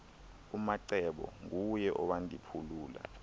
umacebo nguye owandiphulula